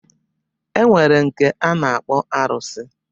E nwere nke a na-akpọ arụsị.